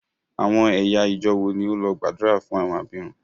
Àwọn ẹ̀yà ìjọọ̀ wo ni ó lọ gbàdúrà fún àwọn abirùn?